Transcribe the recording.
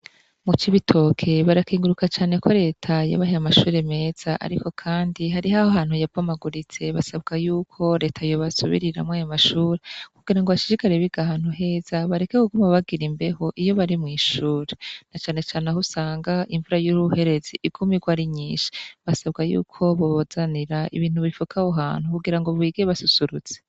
Mucibitoke barakengurukira reta ko yabaronkeje amashure meza ariko kandi hariho abantu ya bomaguritse basabwa yuko reta yobasubiriramwo amashure kugira bashigikirane bakorere ahantu heza bareke kuguma bagira imbeho iyo bari mwishure nacane cane aho usanga imvura yuruherezi iguma irwa ari nyinshi basaba yuko bobazanira ibintu bifuka aho hantu kugira bige basusurutse